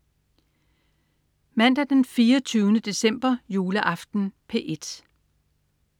Mandag den 24. december. Juleaften - P1: